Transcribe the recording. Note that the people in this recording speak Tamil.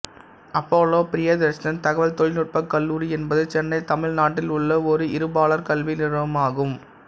அப்போலோ பிரியதர்ஷன் தகவல் தொழில்நுட்பக் கல்லூரி என்பது சென்னை தமிழ்நாட்டில் உள்ள ஓர் இருபாலர் கல்வி நிறுவனம் ஆகும்